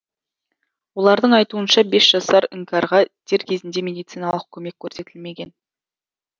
олардың айтуынша бес жасар іңкәрға дер кезінде медициналық көмек көрсетілмеген